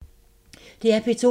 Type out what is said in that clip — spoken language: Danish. DR P2